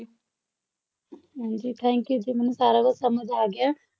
ਹਾਂਜੀ thank you ਜੀ ਮੈਨੂੰ ਸਾਰਾ ਕੁੱਝ ਸਮਝ ਆ ਗਿਆ